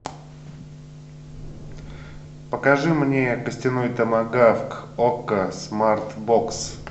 покажи мне костяной томагавк окко смарт бокс